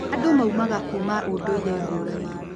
Andũ maumaga kũuma ũndũire ngũranĩ